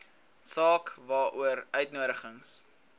saak waaroor uitnodigings